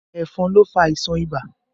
Ẹ̀fọn ló fà àìsàn ibà